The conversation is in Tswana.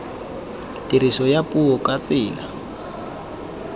tiriso ya puo ka tsela